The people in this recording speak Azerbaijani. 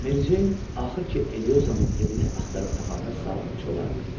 Meri Ceyn axır ki, Eliozanın evini axtarıb tapanda saat 3 olardı.